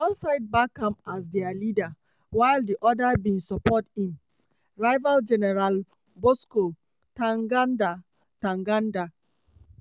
one side back am as dia leader while di oda bin support im rival gen bosco ntaganda. ntaganda.